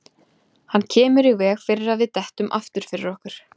Hann kemur í veg fyrir að við dettum aftur fyrir okkur.